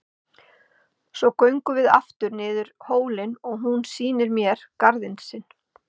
Svo göngum við aftur niður hólinn og hún sýnir mér garðinn sinn.